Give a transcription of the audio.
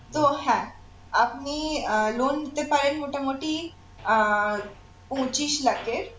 তো হ্যাঁ আপনি আহ loan নিতে পারেন মোটামুটি আহ পঁচিশ লাখের